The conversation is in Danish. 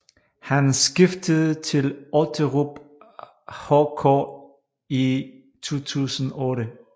Han skiftede til Otterup HK i 2008